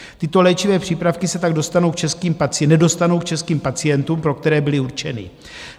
Tyto léčivé přípravky se tak nedostanou k českým pacientům, pro které byly určeny.